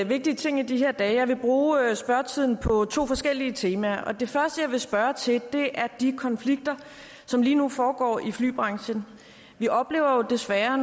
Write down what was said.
vigtige ting i de her dage og jeg vil bruge spørgetiden på to forskellige temaer det første jeg vil spørge til er de konflikter som lige nu foregår i flybranchen vi oplever jo desværre